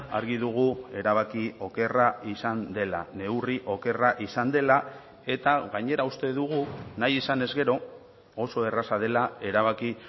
argi dugu erabaki okerra izan dela neurri okerra izan dela eta gainera uste dugu nahi izanez gero oso erraza dela erabaki